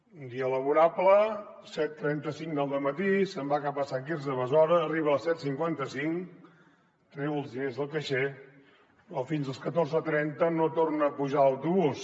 un dia laborable set cents i trenta cinc del dematí se’n va cap a sant quirze de besora arriba a les set cents i cinquanta cinc treu els diners del caixer però fins a les catorze trenta no torna a pujar l’autobús